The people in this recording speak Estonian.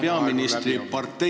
... valitsus- ja peaministriparteile.